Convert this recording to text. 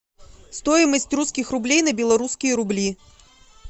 стоимость русских рублей на белорусские рубли